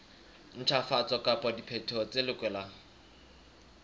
ntjhafatso kapa diphetoho tse lokelwang